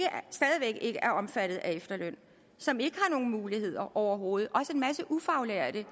er omfattet af efterlønnen som ikke har nogen muligheder overhovedet også en masse ufaglærte